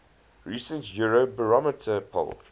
recent eurobarometer poll